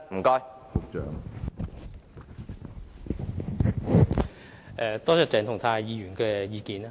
感謝鄭松泰議員提出意見。